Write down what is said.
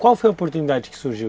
Qual foi a oportunidade que surgiu?